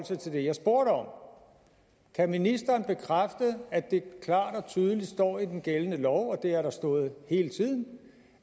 sig til det jeg spurgte om kan ministeren bekræfte at det klart og tydeligt står i den gældende lov og det har der stået hele tiden